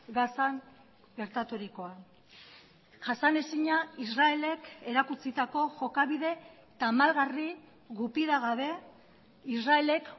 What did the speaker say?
gazan gertaturikoa jasanezina israelek erakutsitako jokabide tamalgarri gupidagabe israelek